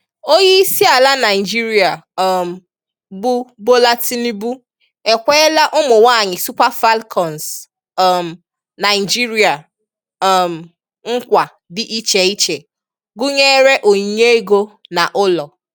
Onyeisiala Naịjirịa um bụ Bola Tinubu ekweela ụmụnwaanyị Super Falcons um Naịjirịa um nkwa dị icheiche gụnyere onyinye ego na ụlọ.